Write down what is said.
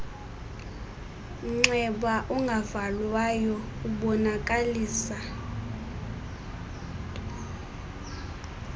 mnxeba ungavalwayo ubonakalisa